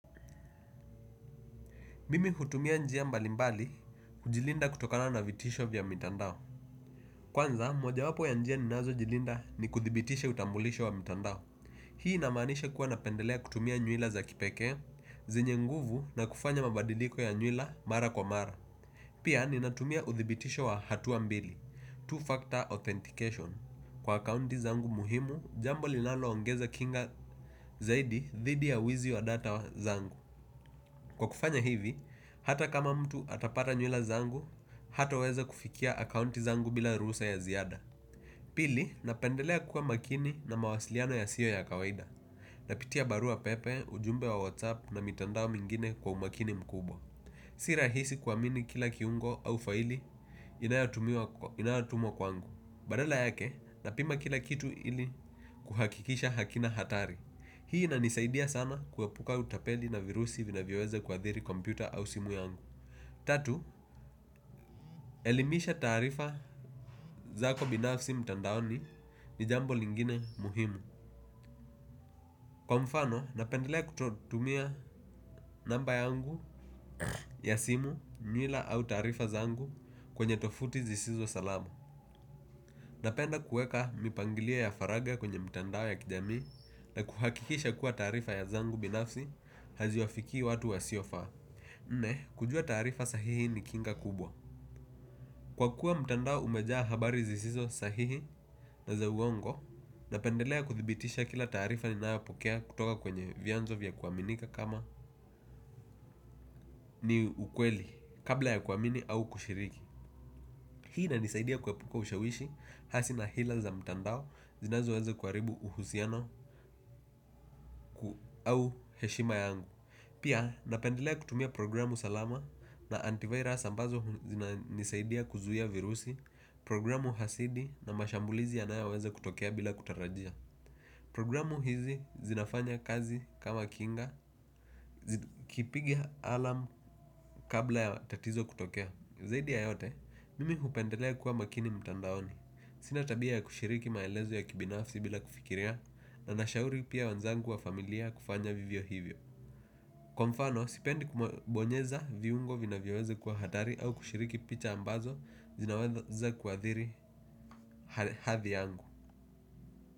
Mimi hutumia njia mbalimbali, kujilinda kutokana na vitisho vya mitandao kwanza, mojawapo ya njia ninazojilinda ni kuthibitisha utambulisho wa mtandao. Hii inamanisha kuwa napendelea kutumia nywila za kipekee, zenye nguvu na kufanya mabadiliko ya nywila mara kwa mara. Pia, ninatumia uthibitisho wa hatua mbili, two-factor authentication. Kwa akaunti zangu muhimu, jambo linaloongeza kinga zaidi dhidi ya wizi wa data zangu. Kwa kufanya hivi, hata kama mtu atapata nywila zangu, hataweza kufikia akaunti zangu bila ruhusa ya ziada. Pili, napendelea kuwa makini na mawasiliano yasiyo ya kawaida. Napitia barua pepe, ujumbe wa whatsapp na mitandao mingine kwa umakini mkubwa. Si rahisi kuamini kila kiungo au faili inayotumwa kwangu. Badala yake, napima kila kitu ili kuhakikisha hakina hatari. Hii inanisaidia sana kuepuka utapeli na virusi vinavyoweza kuathiri kompyuta au simu yangu. Tatu, elimisha taarifa zako binafsi mtandaoni ni jambo lingine muhimu. Kwa mfano, napendelea kutumia namba yangu ya simu, nywila au taarifa zangu kwenye tovuti zisizo salama. Napenda kueka mipangilio ya faragha kwenye mtandao ya kijamii na kuhakikisha kuwa taarifa ya zangu binafsi haziwafikii watu wasiofaa. Nne, kujua taarifa sahihi ni kinga kubwa. Kwa kuwa mtandao umejaa habari zisizo sahihi na za uongo napendelea kuthibitisha kila taarifa ninayopokea kutoka kwenye vianzo vya kuaminika kama ni ukweli kabla ya kuamini au kushiriki. Hii inanisaidia kuepuka ushawishi hasi na hila za mtandao zinazoweza kuharibu uhusiano au heshima yangu. Pia napendelea kutumia programu salama na antivirus ambazo zinanisaidia kuzuia virusi, programu hasidi na mashambulizi yanayoweza kutokea bila kutarajia. Programu hizi zinafanya kazi kama kinga, kipiga alarm kabla ya tatizo kutokea, zaidi ya yote mimi hupendelea kuwa makini mtandaoni. Sina tabia ya kushiriki maelezo ya kibinafsi bila kufikiria na nashauri pia wenzangu wa familia kufanya vivyo hivyo. Kwa mfano, sipendi kubonyeza viungo vinavyoweza kuwa hatari au kushiriki pita ambazo zinaweza kuathiri hadhi yangu.